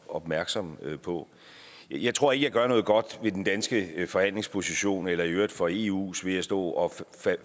opmærksomme på jeg tror ikke jeg gør noget godt ved den danske forhandlingsposition eller i øvrigt for eus ved at stå og